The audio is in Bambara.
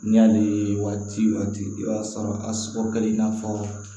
N'i y'ale waati i b'a sɔrɔ a sɔrɔ kɛ i n'a fɔ